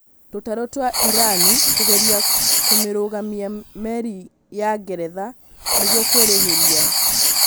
Tũtarũ twa Irani kũgeria kũmĩrũgamia merĩ ya Ngeretha nĩgũo kũĩrĩhĩria